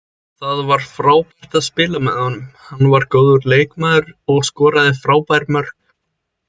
Það var frábært að spila með honum, hann er góður leikmaður og skoraði frábær mörk.